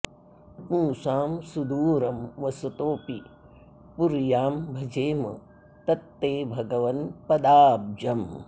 पुंसां सुदूरं वसतोऽपि पुर्यां भजेम तत्ते भगवन् पदाब्जम्